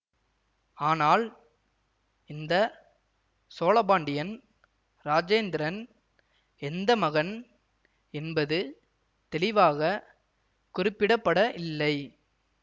ஆனால் இந்த சோழபாண்டியன் இராஜேந்திரன் எந்த மகன் என்பது தெளிவாக குறிப்பிட பட இல்லை